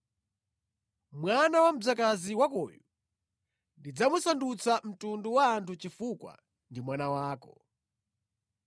Mwana wa mdzakazi wakoyu ndidzamusandutsa mtundu wa anthu chifukwa ndi mwana wako.”